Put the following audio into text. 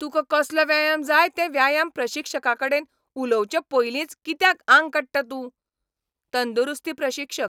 तुका कसलो व्यायाम जाय तें व्यायाम प्रशिक्षकाकडेन उलोवचे पयलींच कित्याक आंग काडटा तूं? तंदुरुस्ती प्रशिक्षक